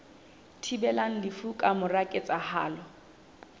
thibelang lefu ka mora ketsahalo